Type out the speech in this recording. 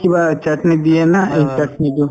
কিবা chutney দিয়ে না সেই chutney তো